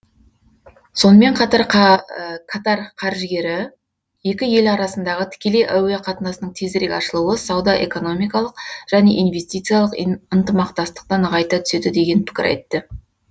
сонымен қатар катар қаржыгері екі ел арасындағы тікелей әуе қатынасының тезірек ашылуы сауда экономикалық және инвестициялық ынтымақтастықты нығайта түседі деген пікір айтты